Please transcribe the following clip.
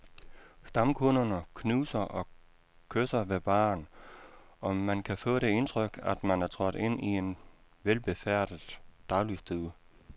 Stamkunderne knuser og kysser ved baren, og man kan få det indtryk, at man er trådt ind i en velbefærdet dagligstue.